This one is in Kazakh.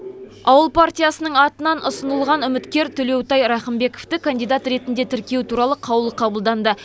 ауыл партиясының атынан ұсынылған үміткер төлеутай рақымбековті кандидат ретінде тіркеу туралы қаулы қабылданды